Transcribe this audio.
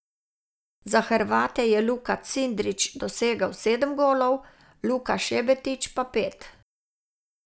Za Hrvate je Luka Cindrić dosegel sedem golov, Luka Šebetić pa pet.